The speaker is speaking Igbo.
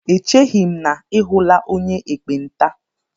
Echeghi m na I hụla onye ekpenta